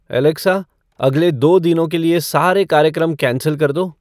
Alexa अगले दो दिनों के सरे कार्यक्रम कैंसल कर दो